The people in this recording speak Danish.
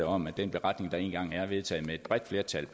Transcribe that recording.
om at den beretning der én gang er vedtaget med et bredt flertal